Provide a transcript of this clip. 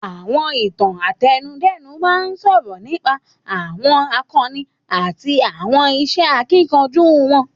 Àwọn Ìtàn àtẹnudẹ́nu máa ń sọ̀rọ̀ nípa àwọn àkọni àti àwọn iṣẹ́ akíkanjú wọn